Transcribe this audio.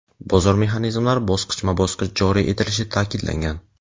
bozor mexanizmlari bosqichma-bosqich joriy etilishi ta’kidlangan.